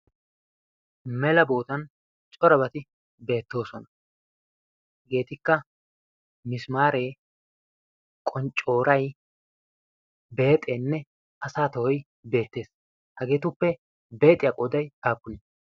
mela bootan corabati beettoosona hageetikka misimaaree qonccooray beexeenne asa tohoi beettees. hageetuppe beexiyaa qooday appunee?